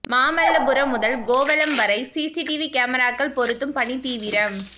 மாமல்லபுரம் முதல் கோவளம் வரை சிசிடிவி கேமராக்கள் பொருத்தும் பணி தீவிரம்